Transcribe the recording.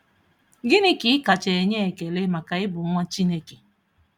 Gịnị ka ị kacha enye ekele maka ịbụ nwa Chineke?